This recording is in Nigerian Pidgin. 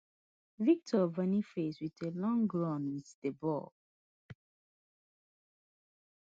victor boniface wit a long runs wit di ball